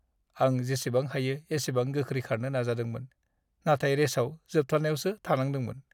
आं जेसेबां हायो एसेबां गोख्रै खारनो नाजादोंमोन, नाथाय रेसाव जोबथायावसो थानांदोंमोन।